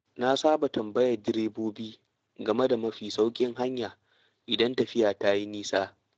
Na saba tambayar direbobi game da mafi sauƙin hanya idan tafiya ta yi nisa.